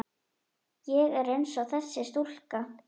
Ég er einsog þessi stúlka.